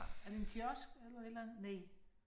Er det en kiosk eller et eller andet? Næh